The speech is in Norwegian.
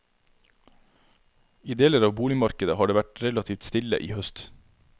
I deler av boligmarkedet har det vært relativt stille i høst.